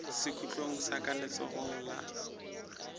sekhutlong sa ka letsogong la